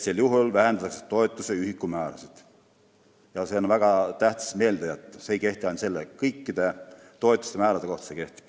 Väga tähtis on meelde jätta, et see ei kehti ainult selle toetuse, vaid kõikide toetuste määrade kohta.